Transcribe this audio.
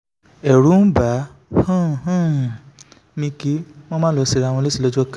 ẹ̀rù ń bàa um um mí kí wọ́n má lọ ṣe ara wọn léṣe lọ́jọ́